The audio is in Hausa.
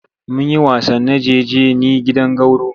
Mun yi wasan najeje ni gidan gwauro.